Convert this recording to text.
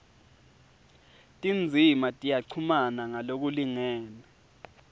tindzima tiyachumana ngalokulingene